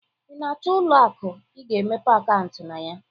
Ị na-achọ ụlọ aku ị ga-emepe akaụntụ na ya.